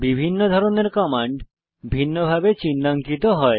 বিভিন্ন ধরনের কমান্ড ভিন্নভাবে চিন্হাঙ্কিত হয়